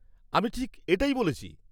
-আমি ঠিক এটাই বলেছি।